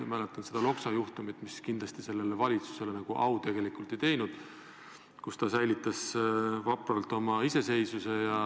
Ma mäletan Loksa juhtumit, mis kindlasti sellele valitsusele tegelikult au ei teinud – ta säilitas vapralt oma iseseisvuse.